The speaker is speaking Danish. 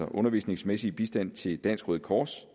undervisningsmæssig bistand til dansk røde kors